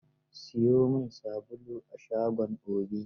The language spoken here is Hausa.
Siyo min sabulu a shagon Obi.